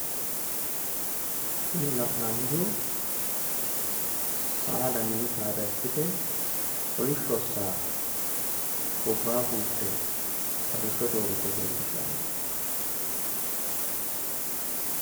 Kuni la'nannihu saada mini saada ikkite kolisho saa gobbaa fulte arrishote uurrite leellishanno